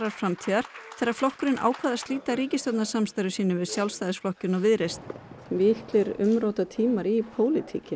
framtíðar þegar flokkurinn ákvað að slíta ríkisstjórnarsamstarfi sínu við Sjálfstæðisflokkinn og Viðreisn miklir umrótatímar í pólitíkinni